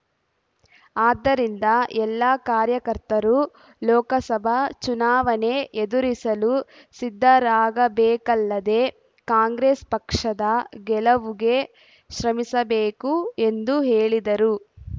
ಆದ್ದರಿಂದ ಎಲ್ಲ ಕಾರ್ಯಕರ್ತರು ಲೋಕಸಭಾ ಚುನಾವಣೆ ಎದುರಿಸಲು ಸಿದ್ಧರಾಗಬೇಕಲ್ಲದೇ ಕಾಂಗ್ರೆಸ್ ಪಕ್ಷದ ಗೆಲುವುಗೆ ಶ್ರಮಿಸಬೇಕು ಎಂದು ಹೇಳಿದರು